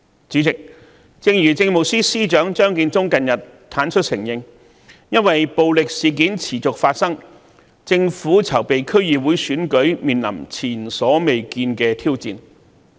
主席，正如政務司司長張建宗近日坦率承認，由於暴力事件持續發生，政府籌備區議會選舉的工作面臨前所未見的挑戰。